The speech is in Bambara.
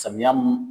Samiya mun